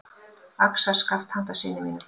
Axarskaft handa syni mínum.